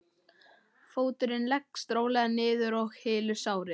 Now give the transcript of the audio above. Fóturinn leggst rólega niður og hylur sárið.